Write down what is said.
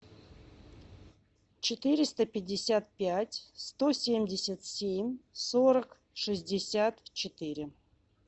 четыреста пятьдесят пять сто семьдесят семь сорок шестьдесят четыре